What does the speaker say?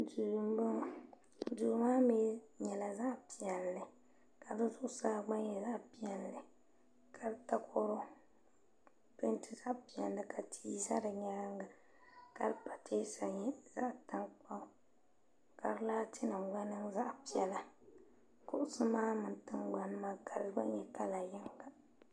do n bɔŋɔ do maa mi nyɛla zaɣ' pɛli ka di zuɣ' saa gba nyɛ zaɣ' pɛli ka di takoro pɛmitɛ zaɣ' pɛli ka ti za di nyɛŋa ka di patɛsa nyɛ zaɣ' tankpagu ka di laatinim gba nim zaɣ' pɛlila kuɣisi mini tiŋa gbani maa kala gba nyɛ zaɣ' yiga